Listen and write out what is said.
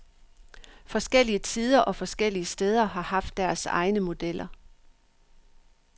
Forskellige tider og forskellige steder har haft deres egne modeller.